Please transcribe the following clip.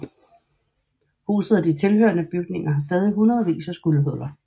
Huset og de tilhørende bygninger har stadig hundredvis af skudhuller